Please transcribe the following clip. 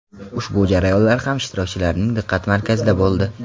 Ushbu jarayonlar ham ishtirokchilarning diqqat markazida bo‘ldi.